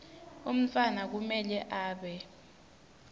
umntfwana kumele abe